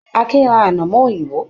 Akin ra anamọ òyìnbó.